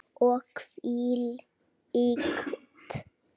Og hvílíkt kakó.